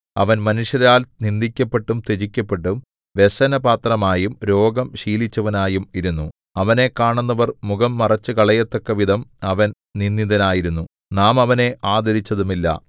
അവൻ മനുഷ്യരാൽ നിന്ദിക്കപ്പെട്ടും ത്യജിക്കപ്പെട്ടും വ്യസനപാത്രമായും രോഗം ശീലിച്ചവനായും ഇരുന്നു അവനെ കാണുന്നവർ മുഖം മറച്ചുകളയത്തക്കവിധം അവൻ നിന്ദിതനായിരുന്നു നാം അവനെ ആദരിച്ചതുമില്ല